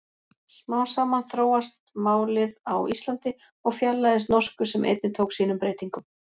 Smám saman þróast málið á Íslandi og fjarlægist norsku sem einnig tók sínum breytingum.